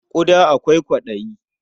Ƙuda akwai kwaɗayi.